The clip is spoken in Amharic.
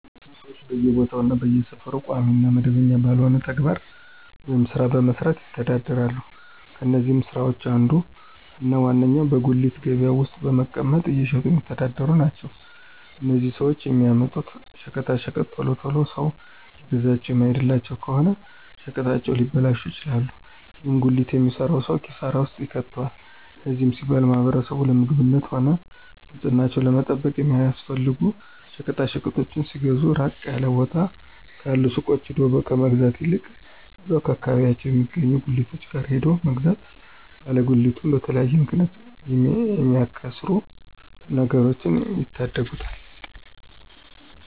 ብዙ ሰወች በየቦታው እና በየሰፈሩ ቋሚ እና መደበኛ ባልሆነ ተግባር ወይም ስራ በመስራት ይተዳደራሉ። ከነዚህም ስራወች አንዱ እና ዋነኛው በጉሊት ገበያ ውስጥ በመቀመጥ እየሸጡ የሚተዳደሩ ናቸው። እነዚህም ሰወች የሚያመጡት ሸቀጣሸቀጦች ቶሎ ቶሎ ሰው እየገዛቸው የማይሄድላቸው ከሆነ ሸቀጣሸቀጡ ሊበላሹ ይችላሉ። ይህም ጉሊት የሚሰራውን ሰው ኪሳራ ውስጥ ይከተዋል። ለዚህም ሲባል ማህበረሰቡ ለምግብነትም ሆነ ንፅህናቸውን ለመጠበቅ የሚያስፈልጉ ሸቀጣሸቀጦችን ሲገዙ ራቅ ያለ ቦታ ካሉ ሱቆች ሄዶ ከመግዛት ይልቅ እዛው አከባቢያቸው የሚገኙ ጉሊቶች ጋር ሄዶ መግዛት ባለ ጉሊቱን በተለያየ ምክንያት ከሚያከስሩት ነገሮች ይታደጉታል።